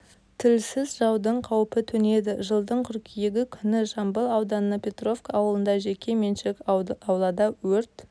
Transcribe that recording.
тілсіз жаудың қауіпі төнеді жылдың қыркүйегі күні жамбыл ауданы петровка ауылында жеке меншік аулада өрт